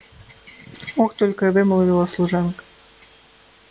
ох только и вымолвила служанка